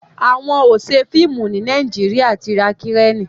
àwọn ọṣẹ fíìmù ní Nàìjíríà tí ra Kireni